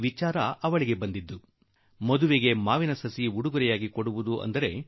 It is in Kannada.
ಆಕೆಗೆ ಮದುವೆಯಲ್ಲಿ ಮಾವಿನ ಸಸಿ ಉಡುಗೊರೆಯಾಗಿ ನೀಡುವ ವಿಚಾರ ಬಂದಿದೆ